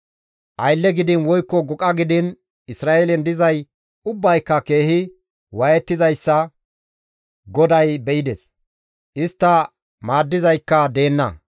Aylle gidiin woykko goqa gidiin Isra7eelen dizay ubbayka keehi waayettizayssa GODAY be7ides; istta maaddizaykka deenna.